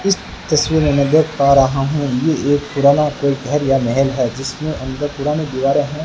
इस तस्वीर मैं देख पा रहा हूं ये एक पुराना कोई घर या महल है जिसमें अंदर पुराने दीवार है।